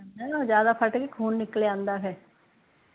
ਜਾਂਦਾ ਫੱਟ ਗਏ ਖੂਨ ਨਿਕਲ ਆਉਂਦਾ ਫ਼ੇਰ